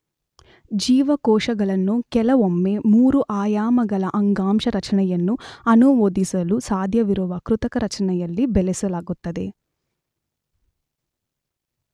ಜೀವಕೋಶಗಳನ್ನು ಕೆಲವೊಮ್ಮೆ ಮೂರು-ಆಯಾಮಗಳ ಅಂಗಾಂಶ ರಚನೆಯನ್ನು ಅನುಮೋದಿಸಲು ಸಾಧ್ಯವಿರುವ ಕೃತಕ ರಚನೆಯಲ್ಲಿ ಬೆಳೆಸಲಾಗುತ್ತದೆ.